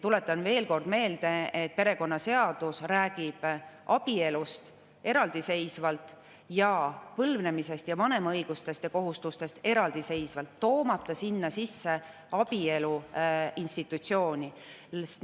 Tuletan veel kord meelde, et perekonnaseadus räägib abielust eraldiseisvalt ning põlvnemisest ja vanema õigustest ja kohustustest eraldiseisvalt, toomata sinna sisse abielu institutsiooni.